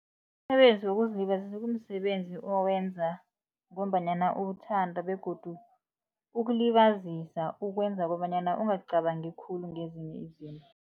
Umsebenzi wokuzilibazisa kumsebenzi owenza ngombanyana uwuthanda begodu ukulibazisa ukwenza kobanyana ungacabangi khulu ngezinye izinto.